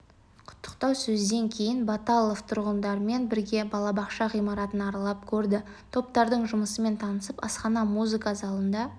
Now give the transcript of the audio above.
құттықтау сөзден кейін баталов тұрғындармен бірге балабақша ғимаратын аралап көрді топтардың жұмысымен танысып асхана музыка залында